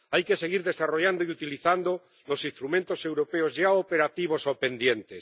Hay que seguir desarrollando y utilizando los instrumentos europeos ya operativos o pendientes.